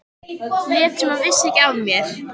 Lét sem hún vissi ekki af mér.